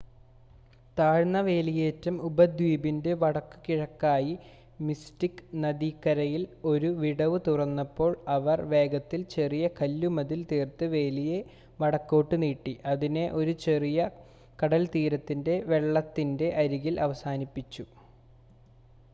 താഴ്ന്ന വേലിയേറ്റം ഉപദ്വീപിൻ്റെ വടക്കുകിഴക്കായി മിസ്റ്റിക്ക് നദിക്കരയിൽ ഒരു വിടവ് തുറന്നപ്പോൾ അവർ വേഗത്തിൽ ചെറിയ കല്ലുമതിൽ തീർത്ത് വേലിയെ വടക്കോട്ട് നീട്ടി അതിനെ ഒരു ചെറിയ കടൽത്തീരത്തിൻ്റെ വെള്ളത്തിൻ്റെ അരികിൽ അവസാനിപ്പിച്ചു